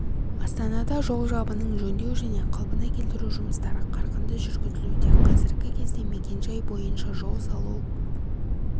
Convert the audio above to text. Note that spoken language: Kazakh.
астанада жол жабынын жөндеу және қалпына келтіру жұмыстары қарқынды жүргізілуде қазіргі кезде мекенжай бойынша жол салу